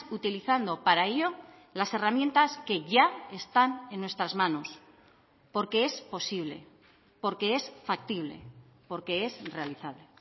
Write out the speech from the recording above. utilizando para ello las herramientas que ya están en nuestras manos porque es posible porque es factible porque es realizable